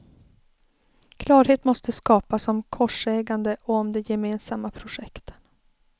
Klarhet måste skapas om korsägande och om de gemensamma projekten.